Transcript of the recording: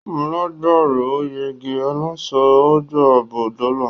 Alágbàró ò yege; aláṣọ á gbà á bó dọ̀la.